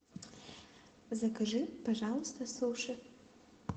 закажи пожалуйста суши